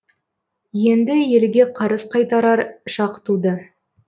енді елге қарыз қайтарар шақ туды